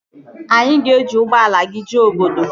Anyị ga-eji ụgbọala gị jee obodo